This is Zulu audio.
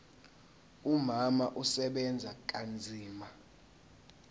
umama usebenza kanzima